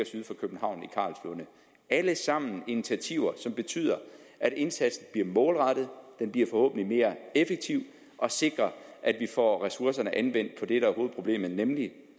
alle sammen initiativer som betyder at indsatsen bliver målrettet forhåbentlig mere effektiv og sikrer at vi får ressourcerne anvendt på det der er hovedproblemet nemlig